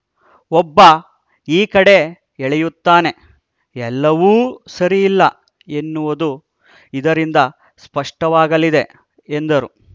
ಒಬ್ಬ ಈ ಕಡೆ ಎಳೆಯುತ್ತಾನೆ ಎಲ್ಲವೂ ಸರಿಯಿಲ್ಲ ಎನ್ನುವುದು ಇದರಿಂದ ಸ್ಪಷ್ಟವಾಗಲಿದೆ ಎಂದರು